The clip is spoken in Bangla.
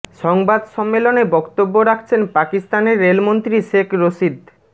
সংবাদ সম্মেলনে বক্তব্য রাখছেন পাকিস্তানের রেল মন্ত্রী শেখ রশিদ